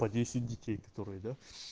по десять детей которые да